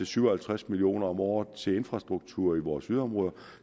syv og halvtreds million kroner om året til infrastruktur i vores yderområder